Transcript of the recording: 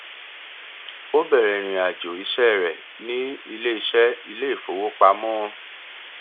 ó bẹrẹ ìrìnàjò iṣẹ rẹ ni ilé iṣẹ ilé ìfowópam